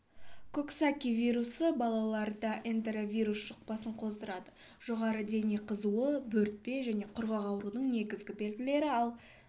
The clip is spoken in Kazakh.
коксаки вирусы балаларда энтеровирус жұқпасын қоздырады жоғары дене қызуы бөртпе және құрғау аурудың негізгі белгілері ал